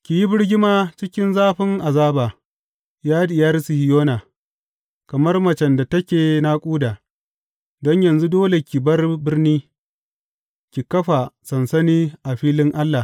Ki yi birgima cikin zafin azaba, ya Diyar Sihiyona, kamar macen da take naƙuda, don yanzu dole ki bar birni ki kafa sansani a filin Allah.